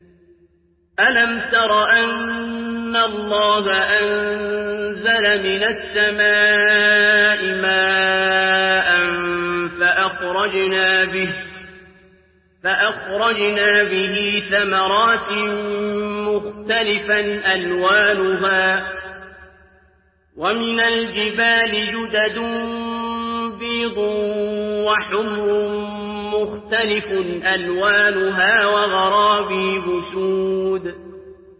أَلَمْ تَرَ أَنَّ اللَّهَ أَنزَلَ مِنَ السَّمَاءِ مَاءً فَأَخْرَجْنَا بِهِ ثَمَرَاتٍ مُّخْتَلِفًا أَلْوَانُهَا ۚ وَمِنَ الْجِبَالِ جُدَدٌ بِيضٌ وَحُمْرٌ مُّخْتَلِفٌ أَلْوَانُهَا وَغَرَابِيبُ سُودٌ